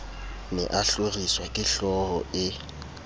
ne a hloriswa kehlooho e